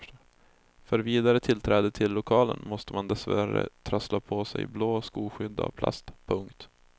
För vidare tillträde till lokalerna måste man dessvärre trassla på sig blå skoskydd av plast. punkt